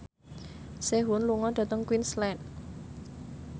Sehun lunga dhateng Queensland